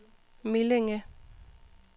Millinge